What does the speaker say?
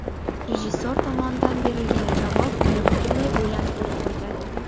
Rejissor tomonidan berilgan javob meni butunlay o‘ylantirib qo‘ydi.